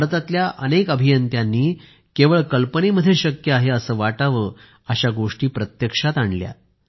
भारतातल्या अनेक अभियंत्यांनी केवळ कल्पनेमध्ये शक्य आहे असं वाटावं अशा गोष्टी प्रत्यक्षात आणल्या